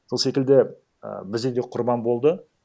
сол секілді і бізде де құрбан болды